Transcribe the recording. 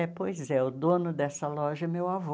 É, pois é, o dono dessa loja é meu avô.